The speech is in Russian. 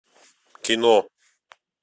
кино